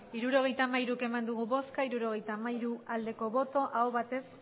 hirurogeita hamairu eman dugu bozka hirurogeita hamairu bai aho batez